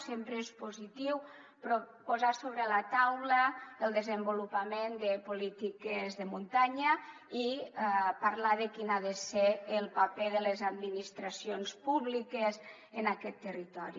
sempre és positiu posar sobre la taula el desenvolupament de polítiques de muntanya i parlar de quin ha de ser el paper de les administracions públiques en aquest territori